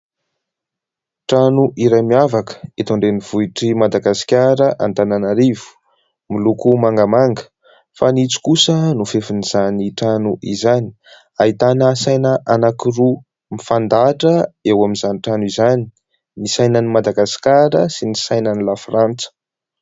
Trano iray miavaka eto an-drenivohitr'i Madagasikara Antananarivo, miloko mangamanga fanitso kosa no fefin'izany trano izany, ahitana saina anankiroa mifandahatra eo amin'izany trano izany, ny sainan'i Madagasikara sy ny sainan'ny la frantsa.